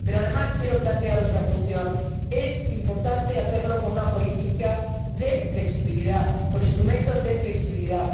Pero, además, quiero plantear otra cuestión es importante hacerlo con una política de flexibilidad, con instrumentos de flexibilidad.